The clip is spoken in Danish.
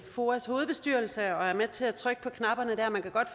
foas hovedbestyrelse og er med til at trykke på knapperne der